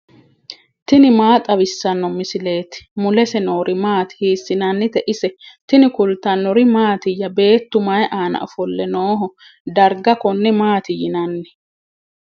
tini maa xawissanno misileeti ? mulese noori maati ? hiissinannite ise ? tini kultannori mattiya? Beettu mayi aanna ofolle nooho? Dariga konne maatti yinnanni?